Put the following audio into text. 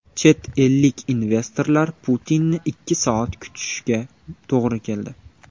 Chet ellik investorlar Putinni ikki soat kutishiga to‘g‘ri keldi.